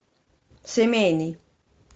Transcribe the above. семейный